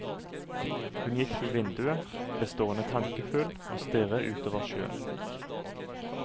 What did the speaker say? Hun gikk til vinduet, ble stående tankefull og stirre utover sjøen.